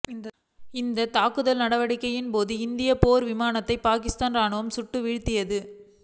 இந்தத் தாக்குதல் நடவடிக்கையின்போது இந்திய போர் விமானத்தை பாகிஸ்தான் ராணுவம் சுட்டு வீழ்த்தியது